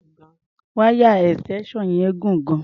Wáyà extension yẹn gùn gan-an.